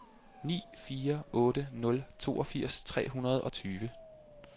ni fire otte nul toogfirs tre hundrede og tyve